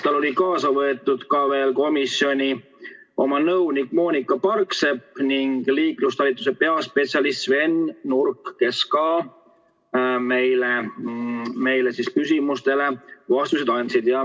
Tal oli kaasa võetud komisjoni nõunik Moonika Parksepp ning liiklustalituse peaspetsialist Sven Nurk, kes ka meie küsimustele vastused andsid.